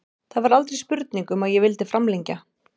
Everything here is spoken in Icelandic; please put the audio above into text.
Það var aldrei spurning um að ég vildi framlengja.